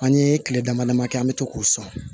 An ye tile dama dama kɛ an bɛ to k'o sɔn